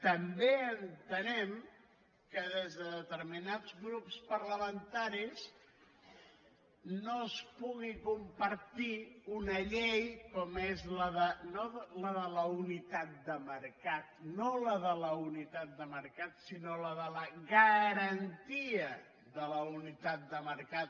també entenem que des de determinats grups parlamentaris no es pugui compartir una llei com és no la de la unitat de mercat sinó la de la garantiatat de mercat